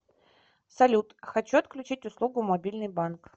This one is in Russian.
салют хочу отключить услугу мобильный банк